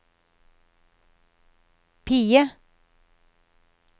PIE